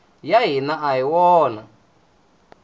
ya hina a hi wona